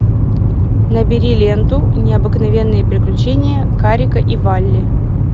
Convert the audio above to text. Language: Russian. набери ленту необыкновенные приключения карика и вали